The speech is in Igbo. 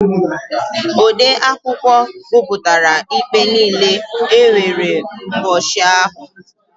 Odeakwụkwọ gụpụtara ikpe niile e nwere n'ubọchị ahụ.